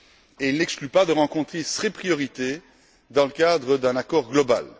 et n'exclut pas de traiter ces priorités dans le cadre d'un accord global.